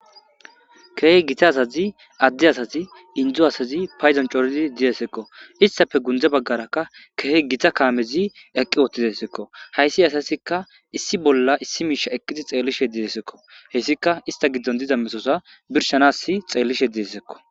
Kehi gitta asazi ade asati inddo asati kehi cora dizayssako. istappe gunde bagarakka kehi gitta kamezi eqqi uttideskko hayssi asazika issi bolla issi mishe eqqidi xeelishe dizayssako. hessika izeta giddon diza metoza birshanas xeelishe dizayssako.